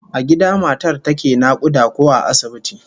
A gida matar take nakuda ko a asibiti?